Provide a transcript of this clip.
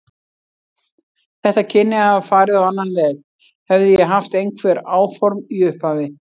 Þetta kynni að hafa farið á annan veg, hefði ég haft einhver áform í upphafi.